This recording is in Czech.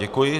Děkuji.